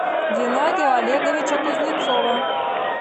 геннадия олеговича кузнецова